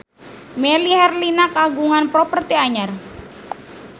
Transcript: Melly Herlina kagungan properti anyar